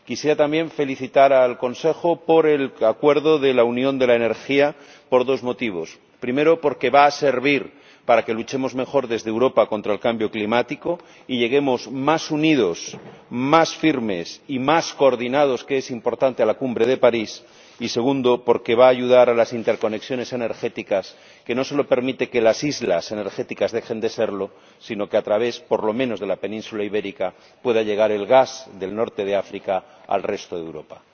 Quisiera también felicitar al Consejo por el acuerdo de la Unión de la Energía por dos motivos primero, porque va a servir para que luchemos mejor desde Europa contra el cambio climático y lleguemos más unidos, más firmes y más coordinados ―que es importante― a la Cumbre de París, y, segundo, porque va a ayudar a las interconexiones energéticas, que no solo permiten que las islas energéticas dejen de serlo, sino que, a través por lo menos de la Península Ibérica, pueda llegar el gas del norte de África al resto de Europa.